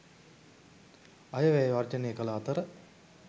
අයවැය වර්ජනය කල අතර